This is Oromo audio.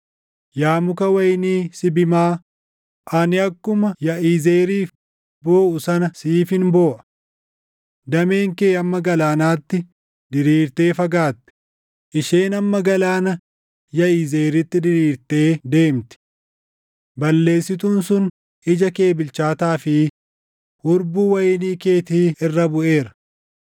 Yaa muka wayinii Sibimaa, ani akkuma Yaʼizeeriif booʼu sana siifin booʼa. Dameen kee hamma galaanaatti diriirtee fagaatte; isheen hamma galaana Yaʼizeeritti diriirtee deemti. Balleessituun sun ija kee bilchaataa fi hurbuu wayinii keetii irra buʼeera.